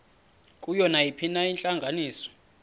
kuyo nayiphina intlanganiso